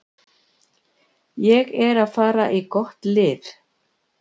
Ég er að fara í gott lið.